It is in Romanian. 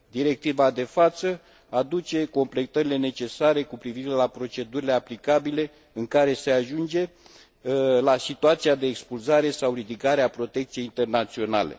Directiva de față aduce completările necesare cu privire la procedurile aplicabile în cazul în care se ajunge la situația de expulzare sau ridicare a protecției internaționale.